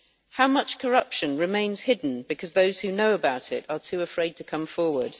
How much corruption remains hidden because those who know about it are too afraid to come forward?